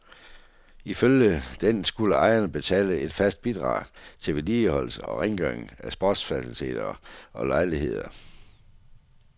Ifølge den skulle ejerne betale et fast bidrag til vedligeholdelse og rengøring af sportsfaciliteter og lejligheder.